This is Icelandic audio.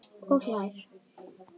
Og hlær.